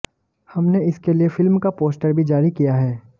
हमने इसके लिए फिल्म का पोस्टर भी जारी किया है